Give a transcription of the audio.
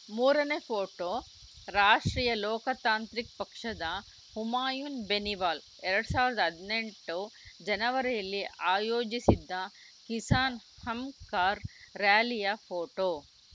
ಮೂರನೇ photo Rashtriya Loktantrik ಪಕ್ಷದ ಹುಮಾಯುನ್‌ ಬೆನಿವಾಲ್‌ ಎರಡ್ ಸಾವಿರದ ಹದಿನೆಂಟು ಜನವರಿಯಲ್ಲಿ ಆಯೋಜಿಸಿದ್ದ ಕಿಸಾನ್‌ ಹಂಕಾರ್‌ ರಾಲಿಯ ಫೋಟೋ